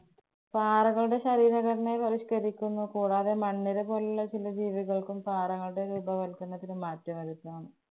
പാറകളുടെ ശരീര ഘടനയെ ബഹിഷ്കരിക്കുന്നു. കൂടാതെ മണ്ണിര പോലുള്ള ചില ജീവികള്‍ക്കും, പാറകളുടെ രൂപവല്‍ക്കരണത്തിനും മാറ്റംവരുത്താം.